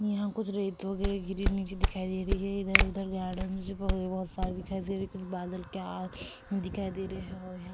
यहाँ कुछ रेत वगेरा गिरी नीचे दिखाई दे रही है इधर उधर गार्डन बहुत सारी दिखाई दे रही है कुछ बादल के अ दिखाई दे रहे है और यहाँ --